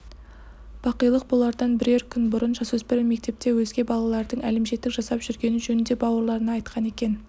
бақилық болардан бірер күн бұрын жасөспірім мектепте өзге балалардың әлімжеттік жасап жүргені жөнінде бауырларына айтқан екен